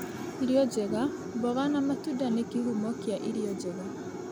Irio njega: Mboga na matunda nĩ kĩhuma kĩa irio njega,